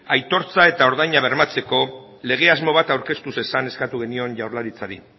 aitortza eta ordaina bermatzeko lege asmo bat aurkeztu zezan eskatu genion jaurlaritzari